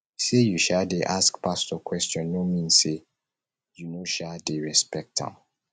sey you um dey ask pastor question no mean sey you no um dey respect am